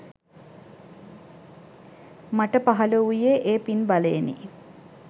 මට පහළ වූයේ ඒ පින් බලයෙනි.